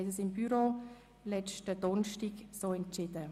Das haben wir seitens des Büros am letzten Donnerstag so entschieden.